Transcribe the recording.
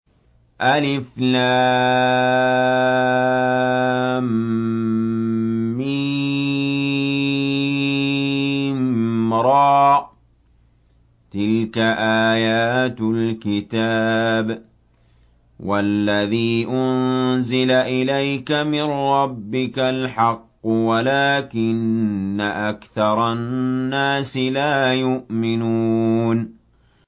المر ۚ تِلْكَ آيَاتُ الْكِتَابِ ۗ وَالَّذِي أُنزِلَ إِلَيْكَ مِن رَّبِّكَ الْحَقُّ وَلَٰكِنَّ أَكْثَرَ النَّاسِ لَا يُؤْمِنُونَ